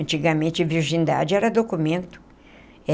Antigamente, virgindade era documento.